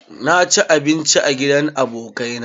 Na ci abinci a gidan abokai na